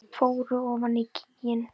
Fóru ofan í gíginn